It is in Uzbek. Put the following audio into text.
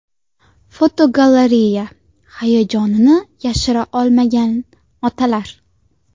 Fotogalereya: Hayajonini yashira olmagan otalar.